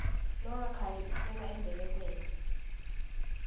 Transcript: longakhali ufela embelekweni